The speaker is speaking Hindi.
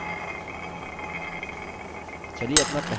चलिए अपना पहला view सेव करते हैं